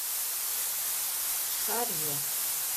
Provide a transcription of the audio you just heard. шарья